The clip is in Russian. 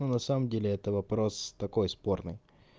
на самом деле это вопрос такой спорный